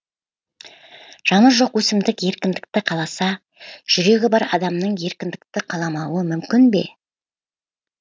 жаны жоқ өсімдік еркіндікті қаласа жүрегі бар адамның еркіндікті қаламауы мүмкін бе